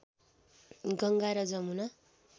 गङ्गा र जमुना